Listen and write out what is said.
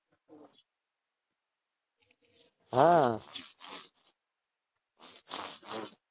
હાં